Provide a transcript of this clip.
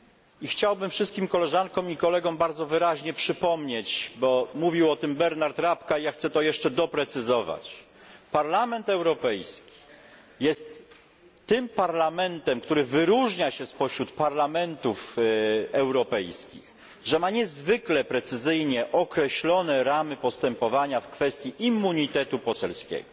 I chciałbym wszystkim Koleżankom i Kolegom bardzo wyraźnie przypomnieć bo mówił o tym Bernhard Rapkay, ja chcę to jeszcze doprecyzować Parlament Europejski jest tym parlamentem, który wyróżnia się spośród parlamentów europejskich, że ma niezwykle precyzyjnie określone ramy postępowania w kwestii immunitetu poselskiego.